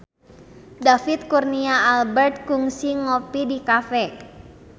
David Kurnia Albert kungsi ngopi di cafe